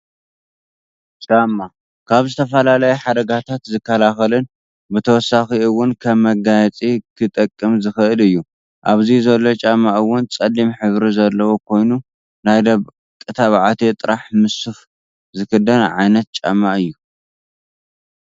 ጫማ፦ ካብ ዝተፈላለዩ ሓደጋታት ዝኸላኸልን ብተወሳኪ እውን ከም መጋየፂ ክጠቅም ዝኽእል እዩ ። ኣብዚ ዘሎ ጫማ እውን ፀሊም ሕብሪ ዘለዎ ኮይኑናይ ደቂ ተባዕትዮ ጥራሕ ምሰ ሱፍ ዝክደን ዓይነት ጫማ እዩ።